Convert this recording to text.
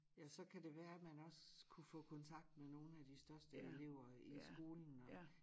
Ja så kan det være at man også kunne få kontakt med nogen af de største elever i skolen og